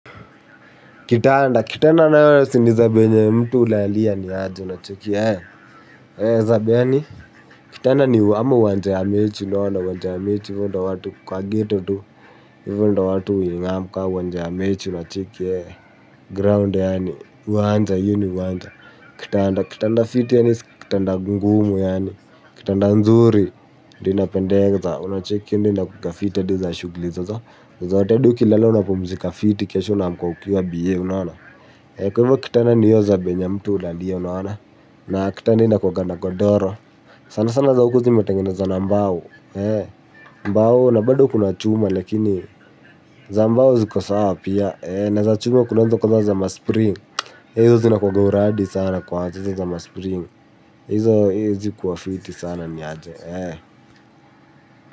Kitanda. Kitanda nayo si ni zabe yenye mtu hulalia ni aje unacheki eee. Zabe yaani. Kitanda ni ama uwanja ya mechi na wanda uwanja mechi ivo ndo watu kwa gheto tu. Hivyo ndio watu huingam kama uwanja ya mechi unacheki eee. Ground yaani. Uwanja hiyo ni uwanja. Kitanda. Kitanda fiti yaani. Kitanda ngumu yaani. Kitanda nzuri. Ndio inapendeza. Una cheki hiyo ndio inakukaa fiti hadi za shughuli zozo. Zote hadi ukilala unapumzika fiti kesho unaamka ukiwa biye unaona. Kwa hivyo kitanda ni hiyo zabe yenye mtu hulalia unaona. Na kitanda inakuanga na godoro. Sana sana za huku zimetengenezwa na mbao. Mbao na baado kuna chuma lakini za mbao ziko sawa pia. Na za chuma kunazo kama za ma spring. Hizo zinakuanga uradi sana kwa hizi za ma spring. Izo zikuwa fiti sana ni aje.